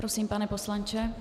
Prosím, pane poslanče.